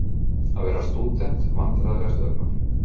Að verða stúdent Vandræðalegasta augnablik?